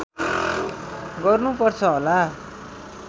गर्नु पर्छ होला